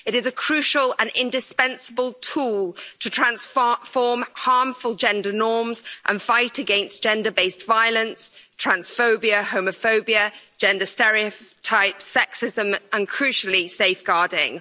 It is a crucial and indispensable tool to transform harmful gender norms and fight against gender based violence, transphobia, homophobia, gender stereotypes, sexism and, crucially, safeguarding.